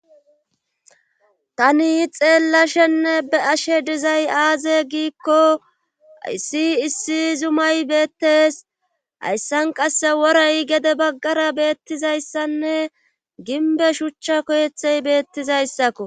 tani xeella shenne be ashe dizay aaze giikko issi issi zumay beettes hayssan qasse worey gede baggara beettizayssanne ginbe shuchcha koyethey beettizayssakko